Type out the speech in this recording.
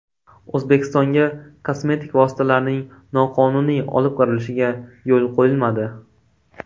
O‘zbekistonga kosmetik vositalarning noqonuniy olib kirilishiga yo‘l qo‘yilmadi.